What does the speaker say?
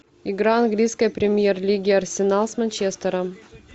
игра английской премьер лиги арсенал с манчестером